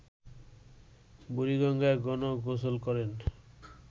বুড়িগঙ্গায় গণ-গোসল করেন